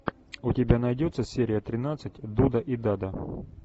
у тебя найдется серия тринадцать дуда и дада